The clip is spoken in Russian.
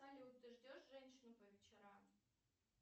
салют ты ждешь женщину по вечерам